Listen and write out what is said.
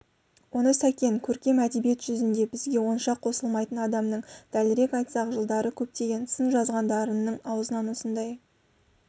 оны сәкен көркем әдебиет жүзінде бізге онша қосылмайтын адамның дәлірек айтсақ жылдары көптеген сын жазған дарынның аузынан осындай